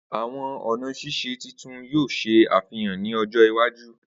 Awọn ọna sise titun yoo ṣe afihan ni ọjọ iwaju